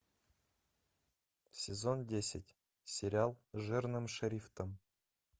сезон десять сериал жирным шрифтом